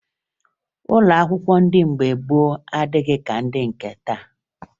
Ụlọ akwụkwọ ndị mgbe gboo adịghị ka ndị nke taa